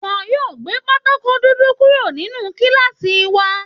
Wọn yóò gbé Pátákó dúdú kúrò nínú kíláàsì wa